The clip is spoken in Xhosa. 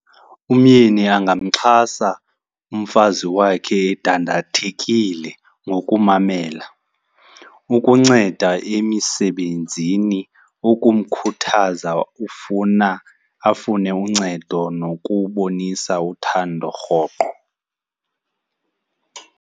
Umyeni angamxhasa umfazi wakhe endandithathekile ngokumamela, ukunceda emisebenzini, ukumkhuthaza ufuna, afune uncedo, nokubonisa uthando rhoqo.